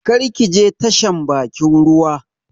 Kar ki je tashan bakin ruwa